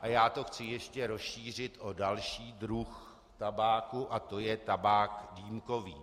a já to chci ještě rozšířit o další druh tabáku a to je tabák dýmkový.